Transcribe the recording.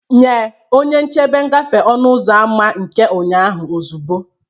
Nye onye nchebe ngafe ọnụ ụzọ ámá nke ụnyaahụ ozugbo!